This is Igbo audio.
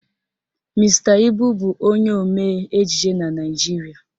Mr. Ibu bụ onye omee ejije na Naijiria